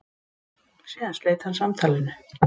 Síðan sleit hann samtalinu.